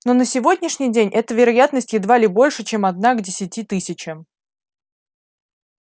но на сегодняшний день эта вероятность едва ли больше чем одна к десяти тысячам